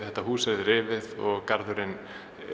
þetta hús yrði rifið og garðurinn